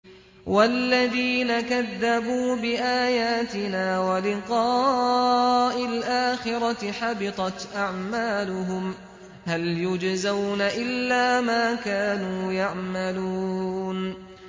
وَالَّذِينَ كَذَّبُوا بِآيَاتِنَا وَلِقَاءِ الْآخِرَةِ حَبِطَتْ أَعْمَالُهُمْ ۚ هَلْ يُجْزَوْنَ إِلَّا مَا كَانُوا يَعْمَلُونَ